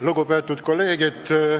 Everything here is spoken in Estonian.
Lugupeetud kolleegid!